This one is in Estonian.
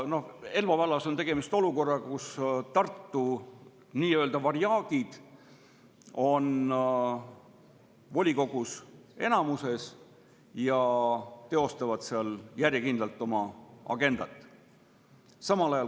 Elva vallas on olukord, kus Tartu nii-öelda varjaagid on volikogus enamuses ja teostavad seal järjekindlalt oma agendat.